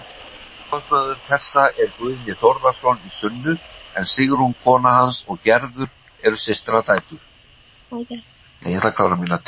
Upphafsmaður þessa er Guðni Þórðarson í Sunnu en Sigrún kona hans og Gerður eru systradætur.